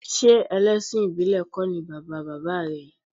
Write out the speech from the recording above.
Ṣé ẹlẹ́sìn ìbílẹ̀ kọ́ ni bàba bàbá rẹ̀?